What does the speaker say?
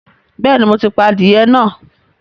Bẹ́ẹ̀ni, mo ti pa adìyẹ náà